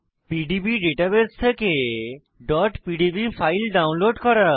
PDB database থেকে pdb file download করা